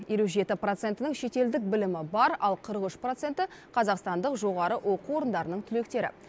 елу жеті процентінің шетелдік білімі бар ал қырық үш проценті қазақстандық жоғары оқу орындарының түлектері